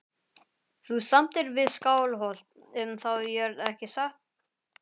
Þú samdir við Skálholt um þá jörð ekki satt?